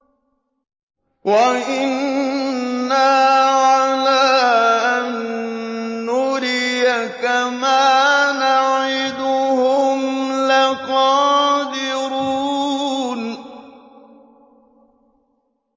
وَإِنَّا عَلَىٰ أَن نُّرِيَكَ مَا نَعِدُهُمْ لَقَادِرُونَ